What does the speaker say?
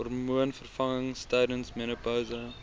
hormoonvervangings tydens menopouse